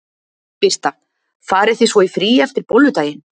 Birta: Farið þið svo í frí eftir Bolludaginn?